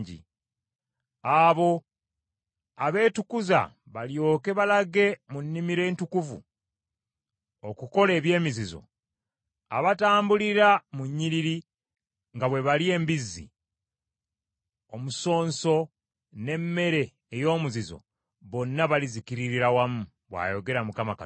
“Abo abeetukuza balyoke balage mu nnimiro entukuvu okukola eby’emizizo, abatambulira mu nnyiriri nga bwe balya embizzi, omusonso n’emmere ey’omuzizo, bonna balizikirira wamu,” bw’ayogera Mukama Katonda.